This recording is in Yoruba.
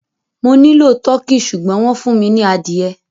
Mo nilọ Tọ̀kì ṣùgbọ̀n wọn fún mi ni adìẹ